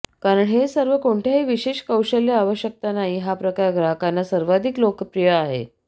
कारण हे सर्व कोणत्याही विशेष कौशल्य आवश्यकता नाही हा प्रकार ग्राहकांना सर्वाधिक लोकप्रिय आहे